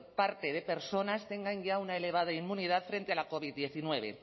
parte de personas tenga ya una elevada inmunidad frente a la covid hemeretzi